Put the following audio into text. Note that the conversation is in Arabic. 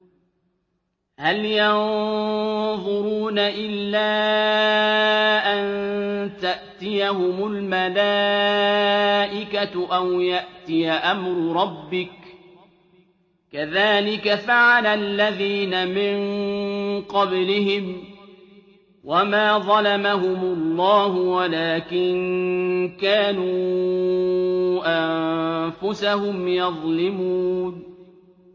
هَلْ يَنظُرُونَ إِلَّا أَن تَأْتِيَهُمُ الْمَلَائِكَةُ أَوْ يَأْتِيَ أَمْرُ رَبِّكَ ۚ كَذَٰلِكَ فَعَلَ الَّذِينَ مِن قَبْلِهِمْ ۚ وَمَا ظَلَمَهُمُ اللَّهُ وَلَٰكِن كَانُوا أَنفُسَهُمْ يَظْلِمُونَ